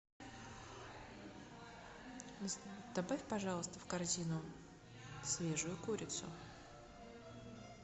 добавь пожалуйста в корзину свежую курицу